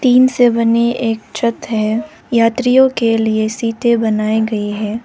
Int से बनी एक छत है यात्रियों के लिए सीटे बनाई गयी है।